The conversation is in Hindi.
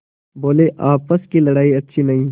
बोलेआपस की लड़ाई अच्छी नहीं